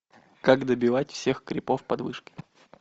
как добивать всех крипов под вышкой